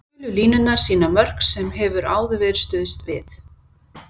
Gulu línurnar sýna önnur mörk sem hefur áður verið stuðst við.